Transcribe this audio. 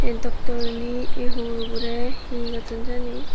eei doktorunei ei hugurborey he gotton jani.